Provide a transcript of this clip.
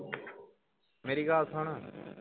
ਮੇਰੀ ਗੱਲ ਸੁਣ